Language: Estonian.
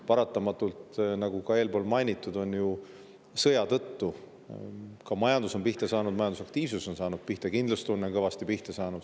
Paratamatult, nagu ka eelpool mainitud, on majandus sõja tõttu pihta saanud, majandusaktiivsus on pihta saanud, kindlustunne on kõvasti pihta saanud.